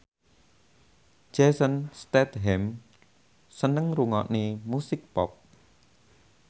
Jason Statham seneng ngrungokne musik pop